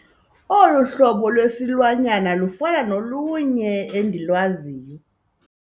Olu hlobo lwesilwanyana lufana nolunye endilwaziyo.